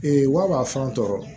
wa fɛn tɔɔrɔ